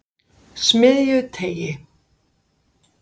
Smiðjuteigi